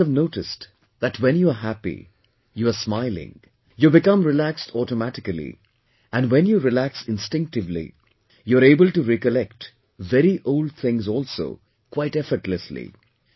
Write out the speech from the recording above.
And you must have noticed that when you are happy, you are smiling, you become relaxed automatically, and when you relax instinctively, you're able to recollect very old things also quite effortlessly